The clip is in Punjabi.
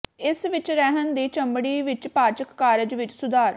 ਇਸ ਵਿੱਚ ਰਹਿਣ ਦੀ ਚਮੜੀ ਵਿਚ ਪਾਚਕ ਕਾਰਜ ਵਿੱਚ ਸੁਧਾਰ